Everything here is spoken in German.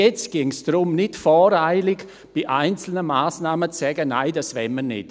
Jetzt ginge es darum, nicht voreilig zu einzelnen Massnahmen zu sagen, «Nein, das wollen wir nicht.».